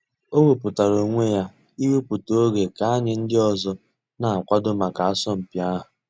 Ọ̀ wépụ̀tárà ònwè yà íwèpụ̀tà ògè kà ànyị̀ ńdí òzò nà-àkwàdò mǎká àsọ̀mpị̀ àhụ̀.